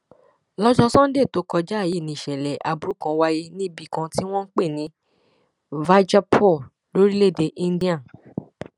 lọjọ sannde tó kọjá yìí ni ìṣẹlẹ aburú kan wáyé níbì kan tí wọn ń pè ní vaijapur lórílẹèdè íńdíà